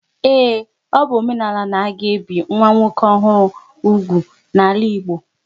Ee, ọ bụ omenala n'aga ebi nwa nwoke ọhụrụ úgwù n'ala Igbo